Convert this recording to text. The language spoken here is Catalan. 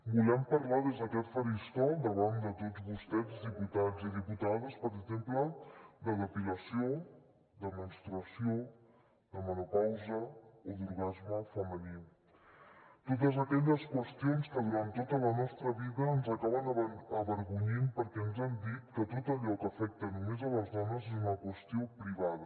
volem parlar des d’aquest faristol davant de tots vostès diputats i diputades per exemple de depilació de menstruació de menopausa o d’orgasme femení totes aquelles qüestions que durant tota la nostra vida ens acaben avergonyint perquè ens han dit que tot allò que afecta només les dones és una qüestió privada